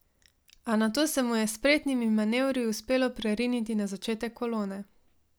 A nato se mu je s spretnimi manevri uspelo preriniti na začetek kolone.